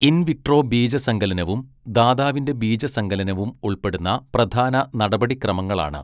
In vitro ബീജസങ്കലനവും ദാതാവിന്റെ ബീജസങ്കലനവും ഉൾപ്പെടുന്ന പ്രധാന നടപടിക്രമങ്ങളാണ്.